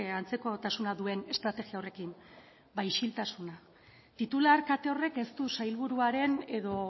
antzekotasuna duen estrategia horrekin ba isiltasuna titular kate horrek ez du sailburuaren edo